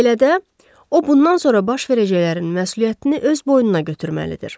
Belə də, o bundan sonra baş verəcəklərin məsuliyyətini öz boynuna götürməlidir.